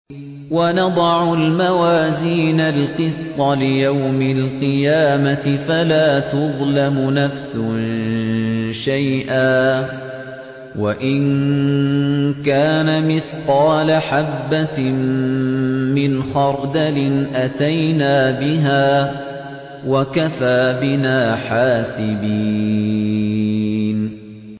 وَنَضَعُ الْمَوَازِينَ الْقِسْطَ لِيَوْمِ الْقِيَامَةِ فَلَا تُظْلَمُ نَفْسٌ شَيْئًا ۖ وَإِن كَانَ مِثْقَالَ حَبَّةٍ مِّنْ خَرْدَلٍ أَتَيْنَا بِهَا ۗ وَكَفَىٰ بِنَا حَاسِبِينَ